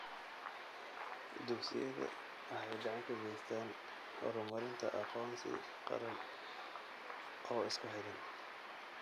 Dugsiyada waxay gacan ka geystaan ??horumarinta aqoonsi qaran oo isku xidhan.